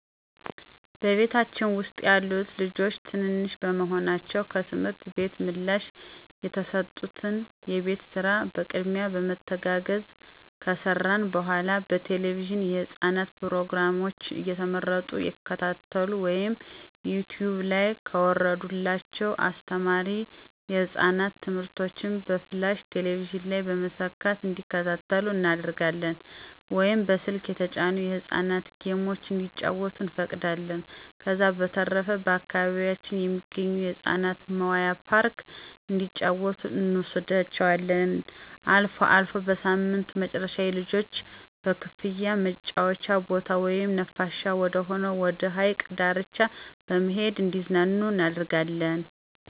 በቤታችን ውስጥ ያሉት ልጆች ትንንሽ በመሆናቸው ከትምህርት ቤት ምላሽ የተሰጡትን የቤት ስራ በቅድሚያ በመተጋገዝ ከሰራን በኃላ በቴለቪዥን የህፃናት ፕሮግራሞችን እየመረጡ ይከታተሉ ወይም ከዩቲውብ ላይ ከወረደላቸው አስተማሪ የህፃናት ትምህርቶችን በፍላሽ ቴሌቪዥን ላይ በመሰካት እንዲከታተሉ እናደርጋለን ወይም በስልክ የተጫኑ የህፃናት ጌሞችን እንዲጫወቱ እንፈቅዳለን። ከዛ በተረፈ በአካባቢያችን ከሚገኝ የህፃናት መዋያ ፓርክ እንዲጫወቱ እንወስዳቸዋለን። አልፎ አልፎ በሳምንቱ መጨረሻ የልጆች በክፍያ መጫወቻ ቦታ ወይም ነፋሻማ ወደሆነ ወደ ሀይቅ ዳርቻ በመሄድ እንዲዝናኑ እናደርጋለን።